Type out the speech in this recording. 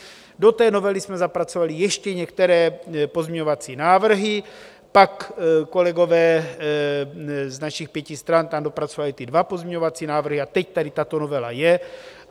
Do té novely jsme zapracovali ještě některé pozměňovací návrhy, pak kolegové z našich pěti stran tam dopracovali ty dva pozměňovací návrhy a teď tady tato novela je.